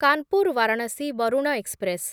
Kanpur Varanasi Varuna express